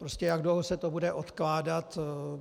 Prostě jak dlouho se to bude odkládat.